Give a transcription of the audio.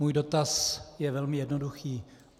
Můj dotaz je velmi jednoduchý.